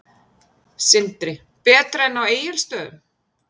Sindri: Betra en á Egilsstöðum?